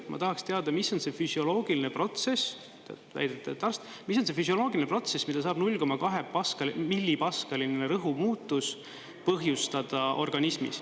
Ma tahaksin teada, mis on see füsioloogiline protsess – te olete väidetavalt arst –, mis on füsioloogiline protsess, mida saab 0,2-millipaskaline õhurõhu muutus põhjustada organismis.